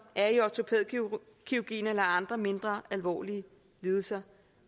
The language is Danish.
er i ortopædkirurgien eller har andre mindre alvorlige lidelser